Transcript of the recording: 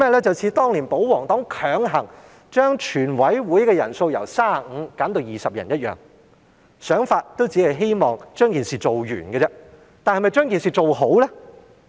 便是像保皇黨當年強行把全委會人數由35人減至20人般，他們的想法也只是希望把事情做完，但是否把事情做好了呢？